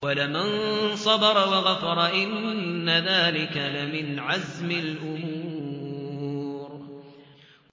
وَلَمَن صَبَرَ وَغَفَرَ إِنَّ ذَٰلِكَ لَمِنْ عَزْمِ الْأُمُورِ